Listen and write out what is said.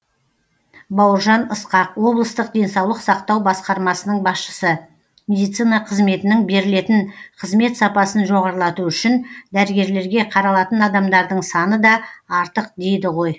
бауыржан ысқақ облыстық денсаулық сақтау басқармасының басшысы медицина қызметінің берілетін қызмет сапасын жоғарлату үшін дәрігерлерге қаралатын адамдардың саны да артық дейді ғой